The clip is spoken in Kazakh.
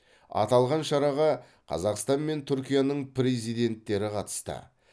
аталған шараға қазақстан мен түркияның президенттері қатысты